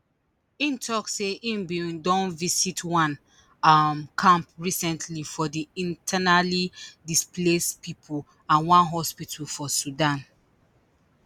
im tok say im bin don visit one um camp recently for di internally displaced pipo and one hospital for sudan